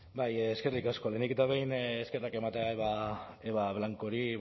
bai eskerrik asko lehenik eta behin eskerrak ematea eba blancori